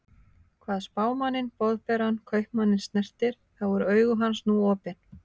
Hvað Spámanninn Boðberann Kaupmanninn snertir, þá eru augu hans nú opin.